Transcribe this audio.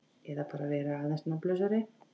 Eða bara vera aðeins nafnlausari.